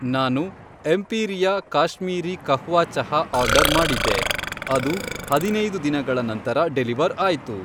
ನಾನು ಎಂಪೀರಿಯಾ ಕಾಶ್ಮೀರೀ ಕಹ್ವಾ ಚಹಾ ಆರ್ಡರ್ ಮಾಡಿದ್ದೆ, ಅದು ಹದಿನೈದು ದಿನಗಳ ನಂತರ ಡೆಲಿವರ್ ಆಯ್ತು.